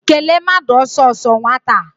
Kelee mmadụ ọsọọsọ nwata a!